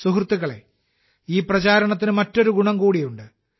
സുഹൃത്തുക്കളേ ഈ പ്രചാരണത്തിന് മറ്റൊരു ഗുണം കൂടിയുണ്ട്